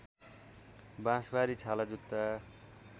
बाँसबारी छालाजुत्ता